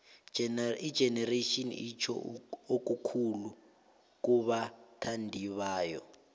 igenerations itjho okukhulu kubathandibayo